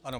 Ano.